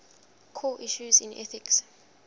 core issues in ethics